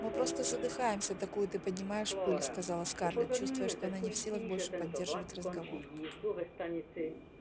мы просто задыхаемся такую ты поднимаешь пыль сказала скарлетт чувствуя что она не в силах больше поддерживать разговор